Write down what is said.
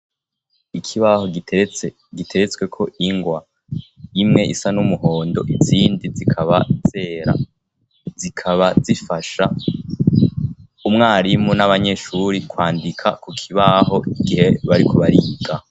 Ikibaho giteretswe ko ingwa imwe isa n'umuhondo izindi zikaba zera zikaba zifasha umwarimu n'abanyeshuri kwandika ku kibaho igihe bariko bariga.